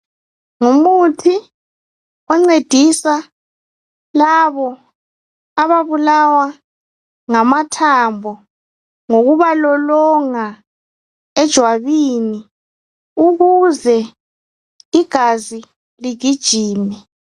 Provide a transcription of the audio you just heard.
Ngumuthi oncedisa labo ababulawa ngamathambo lokubalolonga ejwabini ukuze igazi ligijime.